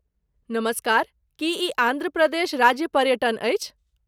नमस्कार, की ई आन्ध्र प्रदेश राज्य पर्यटन अछि?